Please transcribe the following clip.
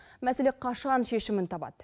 мәселе қашан шешімін табады